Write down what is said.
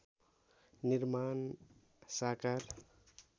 निर्माण साकार